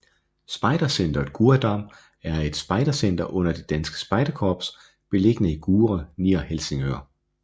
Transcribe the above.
Spejdercentret Gurredam er et spejdercenter under Det Danske Spejderkorps beliggende i Gurre nær Helsingør